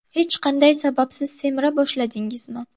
Hech qanday sababsiz semira boshladingizmi?